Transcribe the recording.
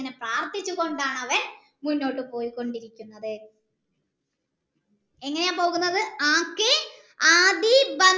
ഇങ്ങനെ പ്രാർത്ഥിച്ചു കൊണ്ടാണവൻ മുന്നോട്ട് പോയിക്കൊണ്ടിരിക്കുന്നത് എങ്ങനെയാ പോകുന്നത്